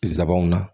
Nsabanw na